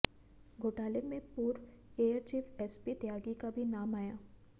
घोटाले में पूर्व एयरचीफ एसपी त्यागी का भी नाम आया